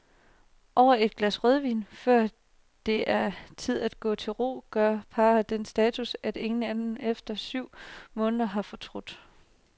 Over et glas rødvin, før det er tid at gå til ro, gør parret den status, at ingen af dem efter syv måneder har fortrudt.